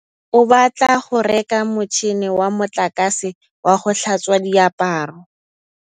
Katlego o batla go reka motšhine wa motlakase wa go tlhatswa diaparo.